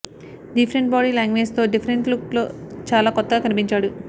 different body language తో different look తో చాలా కొత్తగా కనిపించాడు